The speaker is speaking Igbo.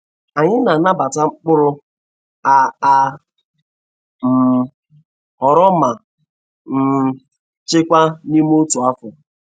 Anyị na-anabatamkpụrụ a a um ghọrọ ma um chekwa n'ime otu afọ.